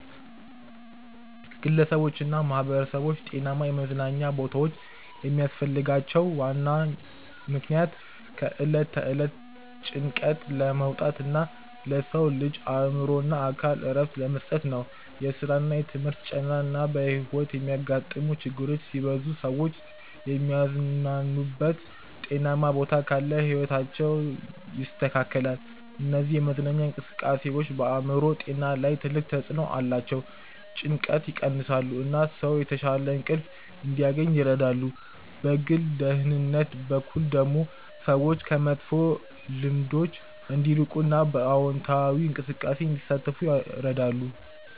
ግለሰቦችና ማህበረሰቦች ጤናማ የመዝናኛ ቦታዎች የሚያስፈልጋቸው ዋናው ምክንያት ከዕለት ተዕለት ጭንቀት ለመውጣት እና ለሰው ልጅ አእምሮና አካል እረፍት ለመስጠት ነው። የስራና የትምህርት ጫና እና በሕይወት የሚያጋጥሙ ችግሮች ሲበዙ ሰዎች የሚዝናኑበት ጤናማ ቦታ ካለ ሕይወታቸው ይስተካከላል። እነዚህ የመዝናኛ እንቅስቃሴዎች በአእምሮ ጤና ላይ ትልቅ ተጽዕኖ አላቸው። ጭንቀትን ይቀንሳሉ፣ እና ሰው የተሻለ እንቅልፍ እንዲያገኝ ይረዳሉ። በግል ደህንነት በኩል ደግሞ ሰዎች ከመጥፎ ልምዶች እንዲርቁ እና በአዎንታዊ እንቅስቃሴ እንዲሳተፉ ይረዳሉ።